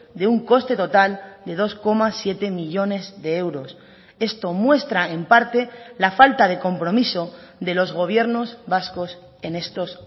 de un coste total de dos coma siete millónes de euros esto muestra en parte la falta de compromiso de los gobiernos vascos en estos